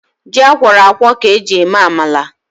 Ji akwọrọ akwọ ka eji eme amala